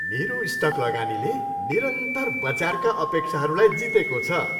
मेरो स्टक लगानीले निरन्तर बजारका अपेक्षाहरूलाई जितेको छ।